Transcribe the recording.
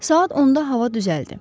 Saat 10-da hava düzəldi.